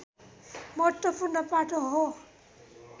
महत्वपूर्ण पाटो हो